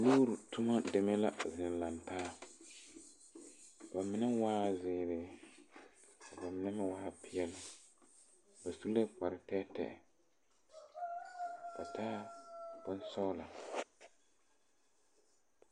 Wore toma demɛ la zeŋ laŋtaa. Ba mene waa ziire, ka ba mene meŋ waa piɛle. Ba su la kpar teɛteɛ. Ba taa bon sɔgla